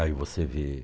Aí você vê.